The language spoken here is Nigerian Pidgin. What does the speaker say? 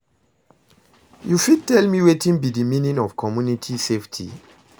you fit tell me wetin be di meaning of community safety?